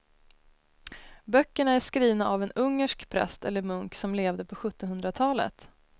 Böckerna är skrivna av en ungersk präst eller munk som levde på sjuttonhundratalet.